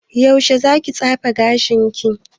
Yaushe za ki tsefe gashin ki?